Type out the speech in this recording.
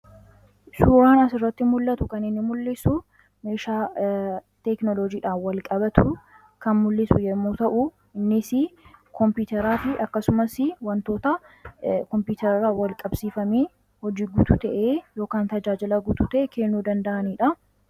Suuraan asirratti mul'atu kan inni mul'isu meeshaa teeknolojiidhan wal-qabatu kan mul'isu yommuu ta'u, innis koompiiteraa fi akkasumas wantoota koompiiterarraa wal-qabsiifamee hojii guutu ta'e yookan tajaajila guutu ta'e kennu danda'aniidha.